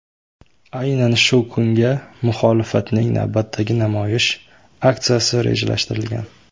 Aynan shu kunga muxolifatning navbatdagi namoyish aksiyasi rejalashtirilgan.